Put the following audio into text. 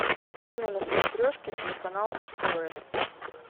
открой мне на смотрешке телеканал муз тв